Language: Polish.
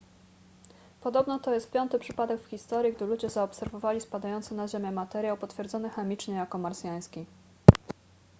podobno to jest piąty przypadek w historii gdy ludzie zaobserwowali spadający na ziemię materiał potwierdzony chemicznie jako marsjański